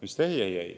"Ei, ei, ei!